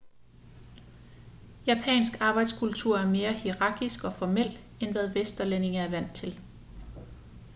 japansk arbejdskultur er mere hierarkisk og formel end hvad vesterlændinge er vant til